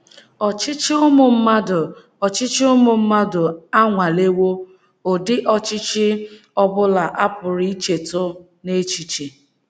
Ọchịchị ụmụ mmadụ Ọchịchị ụmụ mmadụ anwalewo um ụdị ọchịchị ọ bụla a pụrụ ichetụ um n’echiche.